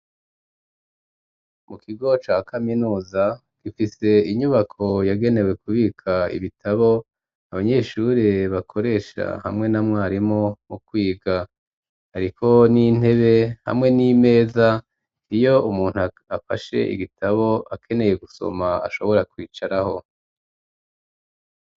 Mu kigo ca kaminuza, gifise inyubako yagenewe kubika ibitabo, abanyeshure bakoresha hamwe na mwarimu mu kwiga; hariko n'intebe hamwe n'imeza, iyo umuntu afashe igitabo akeneye gusoma ashobora kwicaraho.